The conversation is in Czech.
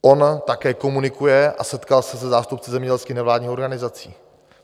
On také komunikuje a setkal se se zástupci zemědělských nevládních organizací.